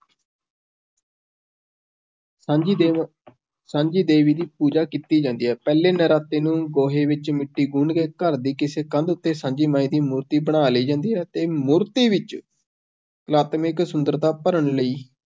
ਸਾਂਝੀ ਦੇ ਸਾਂਝੀ ਦੇਵੀ ਦੀ ਪੂਜਾ ਕੀਤੀ ਜਾਂਦੀ ਹੈ, ਪਹਿਲੇ ਨਰਾਤੇ ਨੂੰ ਗੋਹੇ ਵਿੱਚ ਮਿੱਟੀ ਗੁੰਨ੍ਹ ਕੇ, ਘਰ ਦੀ ਕਿਸੇ ਕੰਧ ਉੱਤੇ ਸਾਂਝੀ ਮਾਈ ਦੀ ਮੂਰਤੀ ਬਣਾ ਲਈ ਜਾਂਦੀ ਹੈ, ਤੇ ਮੂਰਤੀ ਵਿੱਚ, ਕਲਾਤਮਿਕ ਸੁੰਦਰਤਾ ਭਰਨ ਲਈ,